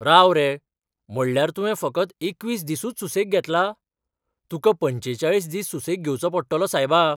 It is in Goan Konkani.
राव रे! म्हळ्यार तुवें फकत एकवीस दिसूच सुसेग घेतला? तुका पंचेचाळीस दीस सुसेग घेवचो पडटलो, सायबा.